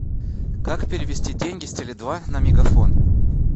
как перевести деньги с теле два на мегафон